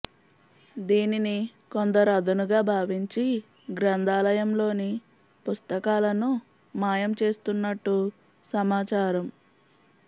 దీనిని కొందరు అదనుగా భావించి గ్రంథాలయంలోని పుస్తకాలను మాయం చేస్తున్నట్టు సమాచారం